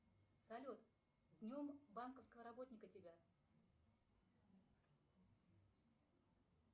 салют с днем банковского работника тебя